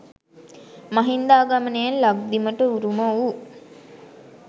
මහින්දාගමනයෙන් ලක්දිවට උරුම වූ